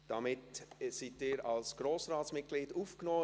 Damit sind Sie als Grossratsmitglied aufgenommen.